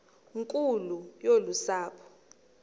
nkulu yolu sapho